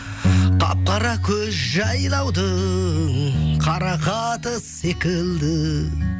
қап қара көз жайлаудың қарақаты секілді